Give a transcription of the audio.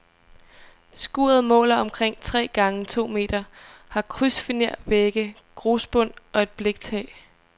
Skuret måler omkring tre gange to meter, har krydsfinervægge, grusbund og et bliktag.